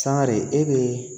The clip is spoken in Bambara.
Sangare e bɛ